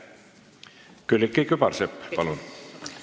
Külliki Kübarsepp, palun!